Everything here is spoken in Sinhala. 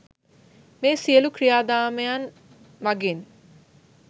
මේ සියලු ක්‍රියාදාමයන් මඟින්